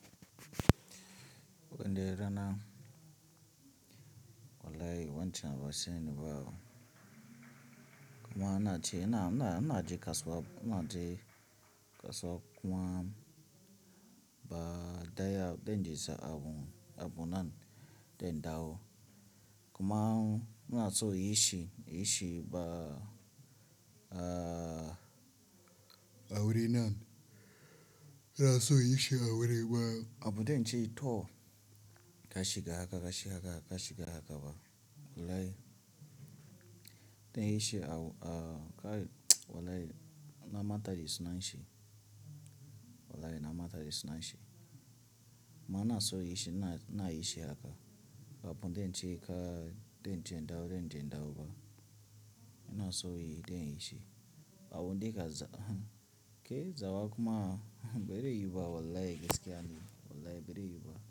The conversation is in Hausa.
O ne rana wallahi wancinawa sai ni bawo. Kuma ana ce ina, ina, ina ji kasuwa, ina ji kasuwa kuma ba daya, dai na jesa abu, abu nan dandawo. Kuma ina so yi shi, yi shi ba, a wurin nan. Ra so yi shi a wurin ba abu dai na ce yi to ka shiga haka, ka shiga haka, ka shiga haka ba wallahi. Kayi shi wallahi na mata da sunan shi. Wallahi na mata da suna shi. Ma na so inyi shi, ninayi shi haka. Abu dai na ce ka, dai na je indawo, dai na je indawo ba. Ina so yi, dan yi shi. Abu dai ka za, ke zawa kuma bazaiyubayiwu ba wallahi gaskiya ne. Wallahi bari yiwu ba.